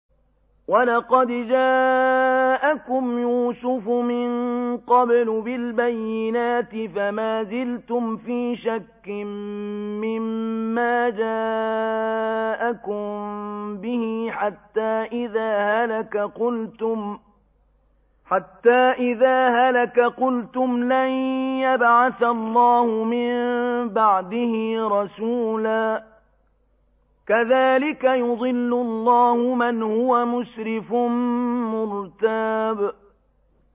وَلَقَدْ جَاءَكُمْ يُوسُفُ مِن قَبْلُ بِالْبَيِّنَاتِ فَمَا زِلْتُمْ فِي شَكٍّ مِّمَّا جَاءَكُم بِهِ ۖ حَتَّىٰ إِذَا هَلَكَ قُلْتُمْ لَن يَبْعَثَ اللَّهُ مِن بَعْدِهِ رَسُولًا ۚ كَذَٰلِكَ يُضِلُّ اللَّهُ مَنْ هُوَ مُسْرِفٌ مُّرْتَابٌ